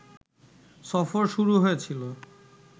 সফর শুরু হয়েছিল